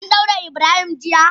An daure Ibrahim jiya?